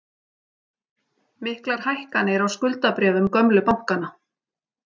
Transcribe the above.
Miklar hækkanir á skuldabréfum gömlu bankanna